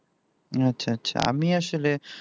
আচ্ছা আচ্ছা আমি আসলে